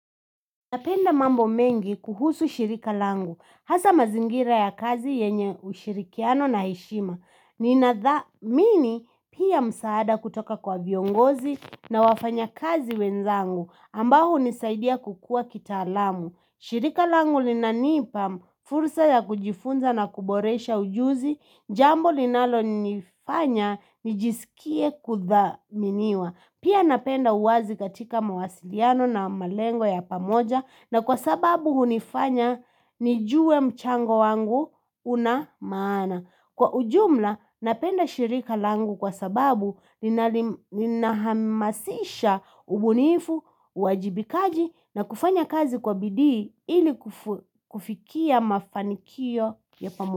Napenda mambo mengi, kuhusu shirika langu. Hasa mazingira ya kazi, yenye ushirikiano na heshima. Ninathamini pia msaada kutoka kwa viongozi na wafanya kazi wenzangu, ambao hunisaidia kukua kitaalamu. Shirika langu linanipa fursa ya kujifunza na kuboresha ujuzi, jambo linalonifanya nijisikie kuthaminiwa. Pia napenda uwazi katika mawasiliano na malengo ya pamoja, na kwa sababu unifanya, nijue mchango wangu unamaana. Kwa ujumla napenda shirika langu kwa sababu, linahamasisha, ubunifu, uajibikaji na kufanya kazi kwa bidii, ili kufikia mafanikio ya pamoja.